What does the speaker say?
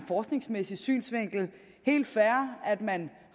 forskningsmæssig synsvinkel at man